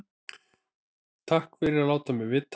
Takk fyrir að láta mig vita